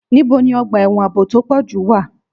Níbo ni ọgbà ẹ̀wọ̀n ààbò tó pọ̀ jù wà?